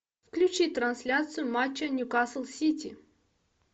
включи трансляцию матча ньюкасл сити